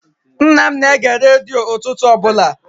Nna m na-ege redio ụtụtụ ọbụla.